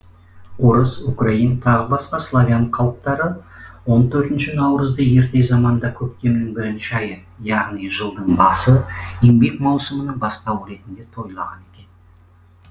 орыс украин тағы басқа славян халықтары он төртінші наурызды ерте заманда көктемнің бірінші айы яғни жылдың басы еңбек маусымының бастауы ретінде тойлаған екен